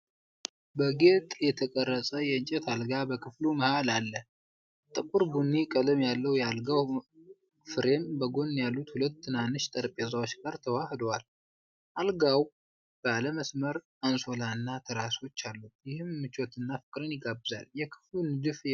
በጌጥ የተቀረጸ የእንጨት አልጋ በክፍሉ መሃል አለ። ጥቁር ቡኒ ቀለም ያለው የአልጋው ፍሬም በጎን ያሉት ሁለት ትናንሽ ጠረጴዛዎች ጋር ተዋህዷል። አልጋው ባለ መስመር አንሶላና ትራሶች አሉት፤ ይህም ምቾትንና ፍቅርን ይጋብዛል። የክፍሉ ንድፍ የእረፍት ስሜትን ያጎላል።